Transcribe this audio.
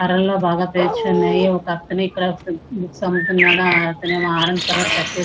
అరల్లో బాగా పేర్చి ఉన్నాయి. ఒకతను ఇక్కడ బుక్స్ అమ్ముతున్నాడు. అతనేమో ఆరెంజ్ కలర్ షర్ట్ వేసుకొని --